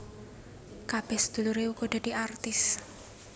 Kabeh sedulure uga dadi artis